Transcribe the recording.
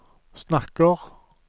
snakker